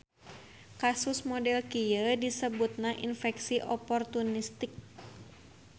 Kasus model kieu disebutna infeksi oportunistik.